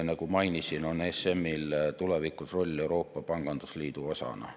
Nagu mainisin, on ESM‑il tulevikus roll Euroopa pangandusliidu osana.